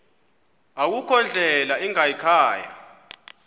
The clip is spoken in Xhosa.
akukho ndlela ingayikhaya